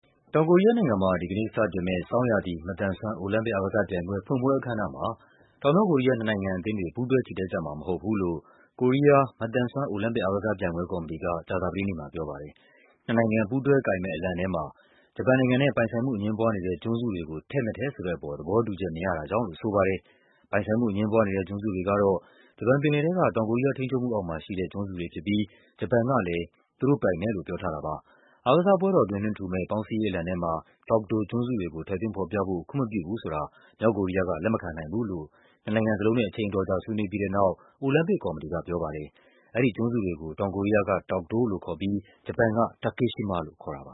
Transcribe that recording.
တောင်ကိုရီးယားနိုင်ငံမှာ ဒီကနေ့လုပ်မယ့် ဆောင်းရာသီ မသန်စွမ်း အိုလံပစ် အားကစားပြိုင်ပွဲ ဖွင့်ပွဲအခမ်းအနားမှာ တောင် မြောက်ကိုရီးယား နှစ်နိုင်ငံကအသင်းတွေ ပူးတွဲချီတက်ကြမှာမဟုတ်ဘူးလို့ ကိုရီယား မသန်စွမ်း အိုလံပစ်အားကစားပြိုင်ပွဲ ကော်မတီက ကြာသပတေးနေ့မှာပြောပါတယ်။ နှစ်နိုင်ငံပူးတွဲကိုင်မယ့် အလံထဲမှာ ဂျပန်နိုင်ငံနဲ့ ပိုင်ဆိုင်မှုအငြင်းပွားနေတဲ့ ကျွန်းစု တွေကို ထည့်မထည့်ဆိုတဲ့အပေါ် သဘောတူချက်မရတာကြောင့်လို့ ဆိုပါတယ်။ ပိုင်ဆိုင်မှုအငြင်းပွားနေတဲ့ ကျွန်းစုတွေကတော့ ဂျပန်ပင်လယ်ထဲက တောင်ကိုရီးယား ထိန်းချုပ်မှုအောက်မှာရှိတဲ့ ကျွန်းစုတွေဖြစ် ပြီး ဂျပန်ကလည်း သူတို့ပိုင်တယ်လို့ ပြောထားတာပါ။ အားကစားပွဲတော်အတွင်း လွှင့်ထူမယ့် ပေါင်းစည်းရေးအလံထဲမှာ Dokdo ကျွန်းစုတွေကို ထည့်သွင်းဖော်ပြဖို့ ခွင့်မပြုဘူးဆိုတာ မြောက်ကိုရီးယားက လက်မခံနိုင်ဘူးလို့ နှစ်နိုင်ငံစလုံးနဲ့ အချိန်အတော်ကြာ ဆွေးနွေးပြီးတဲ့နောက် အိုလံပစ်ကော်မတီက ပြောပါ တယ်။ အဲဒီကျွန်းစုတွေကို တောင်ကိုရီးယားက Dokdo လို့ခေါ်ပြီး ဂျပန်က Takeshima လို့ခေါ်တာပါ